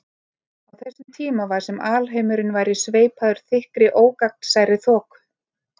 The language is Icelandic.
Á þessum tíma var sem alheimurinn væri sveipaður þykkri ógagnsærri þoku.